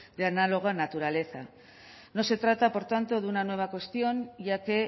de análoga naturaleza no se trata por tanto de una nueva cuestión ya que